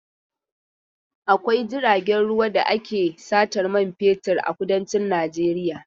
Akwai jiragen ruwa da ake satan man fetur a kudancin Najeiya.